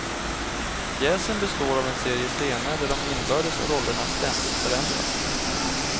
Pjäsen består av en serie scener där de inbördes rollerna ständigt förändras.